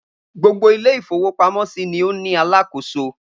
Gbogbo ilé-ìfowópamọ́sí ni ó ní alákòóso.